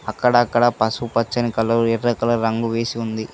అక్కడక్కడ పసుపచ్చని కలర్ ఎర్ర కలర్ రంగు వేసి ఉంది.